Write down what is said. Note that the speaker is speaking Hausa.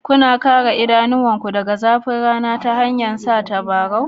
Kuna kare idanunku daga zafin rana ta hanyar sanya tabarau?